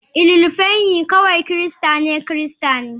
Ililufenyi kawai Kirista ne Kirista ne.